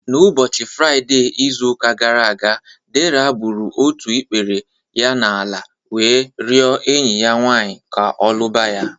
N'ụbọchị Fraide izụ ụka gara aga, Dera gbụrụ ọtụ ikpere ya n'ala wee riọ enyi ya nwanyị ka ọ lụba ya